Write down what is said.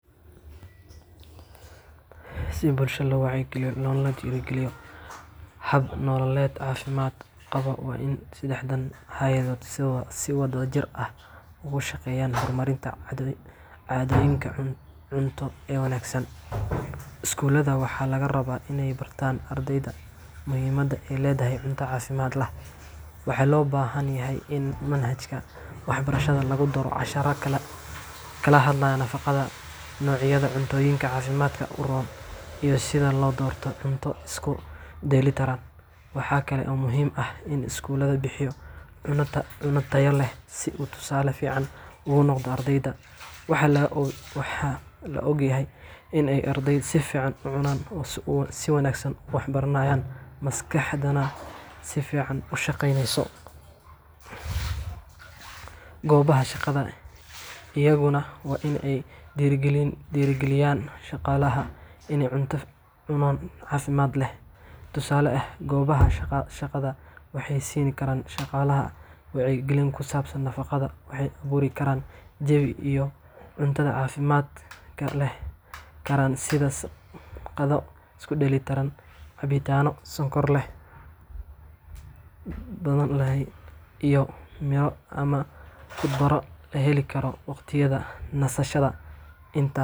Si bulshada loo wacyigeliyo loona dhiirrigeliyo hab nololeed caafimaad qaba, waa in saddexdan hay’adood si wadajir ah uga shaqeeyaan horumarinta caadooyinka cunto ee wanaagsan. Iskuulada waxaa laga rabaa in ay bartaan ardayda muhiimadda ay leedahay cunto caafimaad leh. Waxa loo baahan yahay in manhajka waxbarashada lagu daro casharro ka hadlaya nafaqada, noocyada cuntooyinka caafimaadka u roon, iyo sida loo doorto cunto isku dheelitiran. Waxaa kale oo muhiim ah in iskuulku bixiyo cunno tayo leh, si uu tusaale fiican ugu noqdo ardayda. Waxaa la ogyahay in arday si fiican u cunay uu si wanaagsan wax u baranayo, maskaxdana si fiican u shaqeyneyso. Goobaha shaqada iyaguna waa in ay dhiirrigeliyaan shaqaalaha in ay cunaan cunto caafimaad leh. Tusaale ahaan, goobaha shaqada waxay siin karaan shaqaalaha wacyigelin ku saabsan nafaqada, waxayna abuuri karaan jawi ay cuntada caafimaadka leh ka heli karaan sida qado isku dheelitiran, cabitaanno aan sonkor badan lahayn, iyo miro ama khudaar la heli karo waqtiyada nasashada inta.